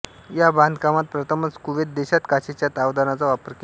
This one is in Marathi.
या बांधकामात प्रथमच कुवेत देशात काचेच्या तावदानाचा वापर केला